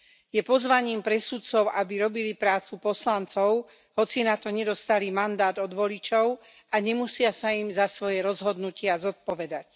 Je pozvaním pre sudcov, aby robili prácu poslancov, hoci na to nedostali mandát od voličov a nemusia sa im za svoje rozhodnutia zodpovedať.